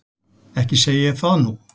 Ekki segi ég það nú.